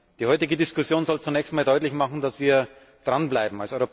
Die heutige Diskussion soll zunächst einmal deutlich machen, dass wir dran bleiben.